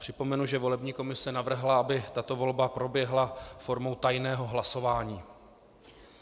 Připomenu, že volební komise navrhla, aby tato volba proběhla formou tajného hlasování.